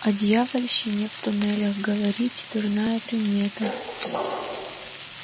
о дьявольщине в туннелях говорить дурная примета